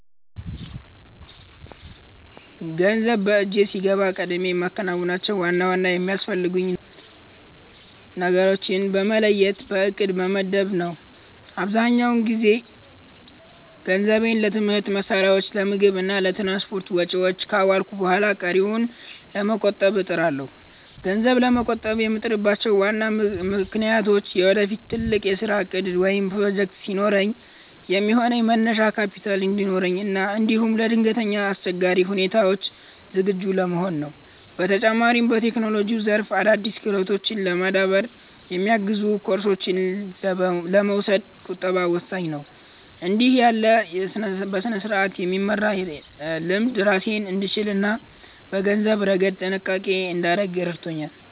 ገንዘብ በእጄ ሲገባ ቀድሜ የማከናውነው ዋና ዋና የሚያስፈልጉኝን ነገሮች በመለየት በዕቅድ መመደብ ነው። አብዛኛውን ጊዜ ገንዘቤን ለትምህርት መሣሪያዎች፣ ለምግብ እና ለትራንስፖርት ወጪዎች ካዋልኩ በኋላ ቀሪውን ለመቆጠብ እጥራለሁ። ገንዘብ ለመቆጠብ የምጥርባቸው ዋና ምክንያቶች ለወደፊት ትልቅ የሥራ ዕቅድ ወይም ፕሮጀክት ሲኖረኝ የሚሆን መነሻ ካፒታል እንዲኖረኝ እና እንዲሁም ለድንገተኛ አስቸጋሪ ሁኔታዎች ዝግጁ ለመሆን ነው። በተጨማሪም፣ በቴክኖሎጂው ዘርፍ አዳዲስ ክህሎቶችን ለማዳበር የሚያግዙ ኮርሶችን ለመውሰድ ቁጠባ ወሳኝ ነው። እንዲህ ያለው በሥርዓት የመመራት ልምድ ራሴን እንድችልና በገንዘብ ረገድ ጥንቃቄ እንዳደርግ ይረዳኛል። በአጠቃላይ፣ ዛሬ የምቆጥበው ጥቂት ገንዘብ ለነገው ትልቅ ግቤ መሠረት እንደሆነ አምናለሁ።